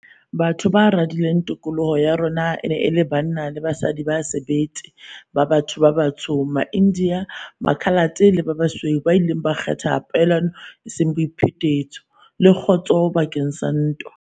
Batho ba radileng tokoloho ya rona e ne e le banna le basadi ba sebete ba batho ba batsho, maIndiya, Makhalate le ba basweu ba ileng ba kgetha poelano eseng boiphetetso, le kgotso bakeng sa ntwa.